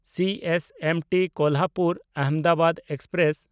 CSMT ᱠᱳᱞᱦᱟᱯᱩᱨ–ᱟᱦᱚᱢᱫᱟᱵᱟᱫ express